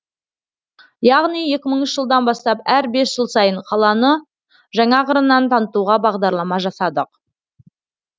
яғни екі мыңыншы жылдан бастап әр бес жыл сайын қаланы жаңа қырынан танытуға бағдарлама жасадық